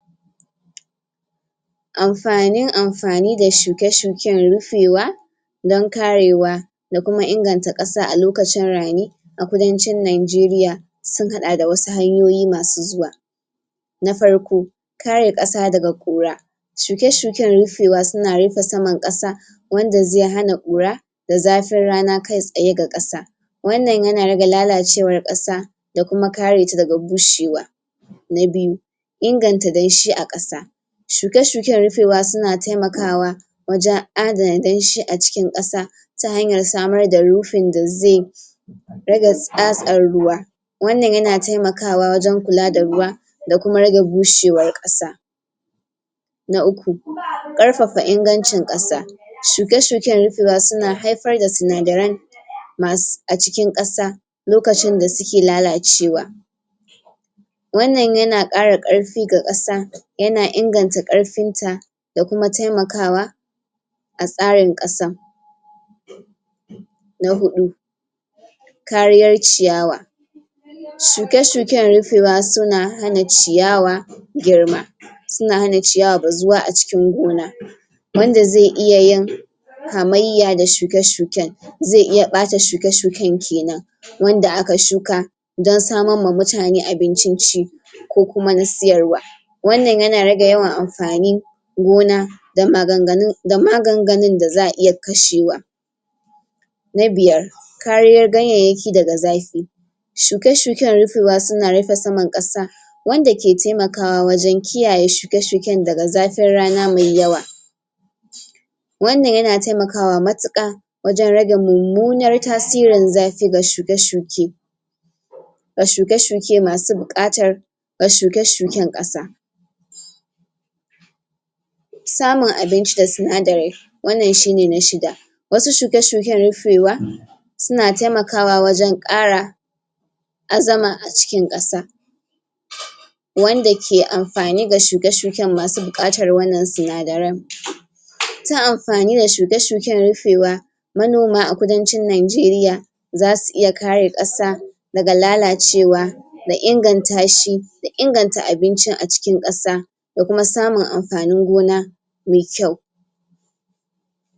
Amfanin amfani da shuke-shuken rufewa don karewa da kuma inganta asa a lokacin rani a kudancin Nijeriya sun haɗa da wasu hanyoyi masu zuwa na farko kare ƙasa daga ƙura shuke-shuken rufewa suna rufe saman ƙasa wanda zai hana ƙura da zafin rana kai tsaye ga ƙasa wannan yana rage lalacewar ƙasa da kuma kare ta daga bushewa na biyu inganta danshi a ƙasa shuke-shuken rufewa suna taimakawa waje adana danshi a cikin ƙasa ta hanyar samar da rufin da zai rage tsatsan ruwa wannan yana taimakawa wajen kula da ruwa da kuma rage bushewar ƙasa na uku? ƙarfafa ingancin ƙasa shuke shuken rufewa suna haifar da sinadaran masu a cikin ƙasa lokacin da suke lalacewa wannan yana ƙara ƙarfi ga ƙasa yana inganta ƙarfinta da kuma taimakawa a tsarin ƙasa na huɗu kariyar ciyawa shuke-shuken rufewa suna hana ciyawa girma suna hana ciyawa bazuwa a cikin gona wanda zai iya yin hamyayya da shuke-shuken zai iya ɓata shuke-shuken kenan wanda aka shuka don samar ma mutane abincin ci ko kuma na siyarwa wannan yana rage yawan amfani gona da maganganun da maganganun da za a iya kashewa na biyar kariyar ganyayyaki daga zafi shuke-shuken rufewa suna rufe saman ƙasa wanda ke taimakawa wajen kiyaye shuke shuken daga zafin rana mai yawa wannan na taimakawa matuƙa wajen rage mummunan tasirin zafi ga shuke shuke ga shuke-shuke masu buƙatar ga shuke-shuken ƙasa samun abinci da sinadari wannan shine na shida wasu shuke-shuken rufewa suna taimakawa wajen ƙara azama a cikin ƙasa wanda ke amfani ga shuke-shuken masu buƙatar wannan sinadara? tun amfani da shuke-shuken rufewa manoma a kudancin Nijeriya za su iya kare ƙasa daga lalacewa da ingantashi da inganta abincin a cikin ƙasa da kuma samun amfanin gona mai kyau.